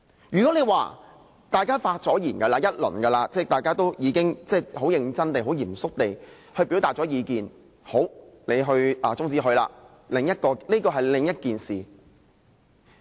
如果是大家已發言一段時間，即大家已很認真地、很嚴肅地表達過意見，才把議案中止，這是另一回事。